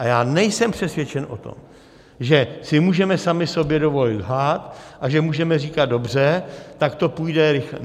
A já nejsem přesvědčen o tom, že si můžeme sami sobě dovolit lhát a že můžeme říkat dobře, tak to půjde rychleji.